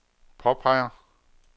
påpeger